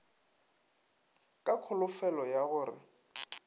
ka kholofelo ya go re